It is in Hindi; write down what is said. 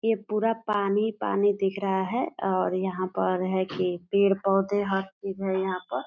ये पूरा पानी पानी दिख रहा है और यहाँ पर है की पेड़ पौधे हर चिज है यहाँ पर।